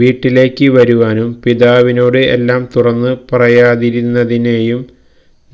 വീട്ടിലേക്ക് വരുവാനും പിതാവിനോട് എല്ലാം തുറന്നു പറയാതിരുന്നതിനെയും